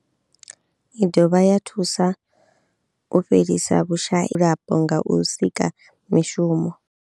I dovha ya thusa u fhelisa vhushayi vhadzulapo nga u sika mishumo.